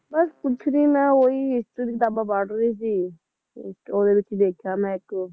ਬੱਸ ਕੁਝ ਨੀ ਮੈਂ ਉਹੀ history ਦਿਆ ਕਿਤਾਬਾਂ ਪੜ ਰਹੀ ਸੀ ਇੱਕ ਓਹਦੇ ਵਿੱਚ ਦੇਖਿਆ ਮੈਂ ਇੱਕ